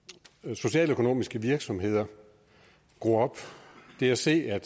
socialøkonomiske virksomheder gro op det at se at